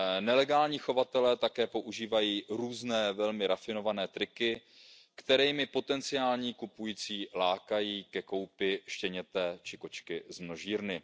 Nelegální chovatelé také používají různé velmi rafinované triky, kterými potenciální kupující lákají ke koupi štěněte či kočky z množírny.